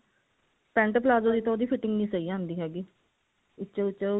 pent palazzo ਦੀ ਤਾਂ ਉਹ ਦੀ fitting ਨਹੀਂ ਸਹੀ ਆਉਂਦੀ ਹੈਗੀ ਵਿੱਚੋ ਵਿੱਚੋ